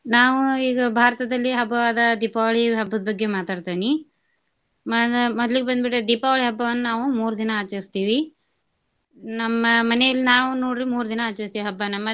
ನಾವು ಈಗ ಭಾರತದಲ್ಲಿ ಹಬ್ಬವಾದ ದೀಪಾವಳಿ ಹಬ್ಬದ್ ಬಗ್ಗೆ ಮಾತಾಡ್ತೇನಿ. ಮಾ~ ಮೊದ್ಲಿಗ್ ಬಂದ್ಬಿಟ್ಟು ದೀಪಾವಳಿ ಹಬ್ಬವನ್ನ ನಾವು ಮೂರ್ ದಿನಾ ಆಚರಸ್ತೇವಿ ನಮ್ಮ ಮನೆಯಲ್ಲಿ ನಾವು ನೋಡ್ರಿ ಮೂರ್ ದಿನಾ ಆಚರಸ್ತೇವಿ ಹಬ್ಬನಾ.